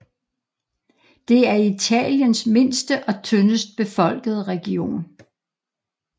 Det er Italiens mindste og tyndest befolkede region